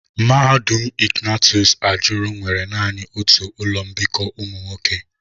Mahadum Ignatius ajuru nwere nani otu ụlọ mbikọ ụmụ nwoke.